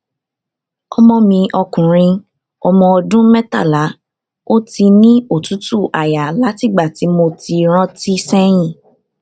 ọmọ mi ọkùnrin ọmọ ọdún mẹtàlá ó ti ní otutu aya látìgbà tí mo rántí seyin